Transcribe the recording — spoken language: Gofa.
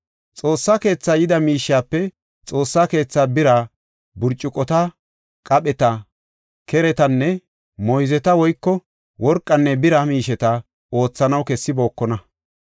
Xoossa keetha yida miishiyape Xoossa keetha bira burcukota, qapheta, keretanne moyzeta woyko worqanne bira miisheta oothanaw kessibookona.